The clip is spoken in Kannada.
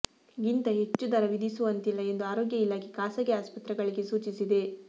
ಗಿಂತ ಹೆಚ್ಚು ದರ ವಿಧಿಸುವಂತಿಲ್ಲ ಎಂದು ಆರೋಗ್ಯ ಇಲಾಖೆ ಖಾಸಗಿ ಆಸ್ಪತ್ರೆಗಳಿಗೆ ಸೂಚಿಸಿದೆ